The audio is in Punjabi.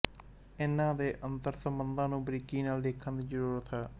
ਇਨ੍ਹਾਂ ਦੇ ਅੰਤਰ ਸਬੰਧਾਂ ਨੂੰ ਬਰੀਕੀ ਨਾਲ ਦੇਖਣ ਦੀ ਜ਼ਰੂਰਤ ਹੈ